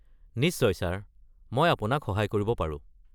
নিশ্চয় ছাৰ, মই আপোনাক সহায় কৰিব পাৰো।